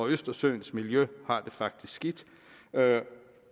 østersøens miljø har det faktisk skidt